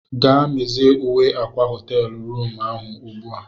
Gaa mezie uwe akwa họteelu rụmụ ahụ ugbu a!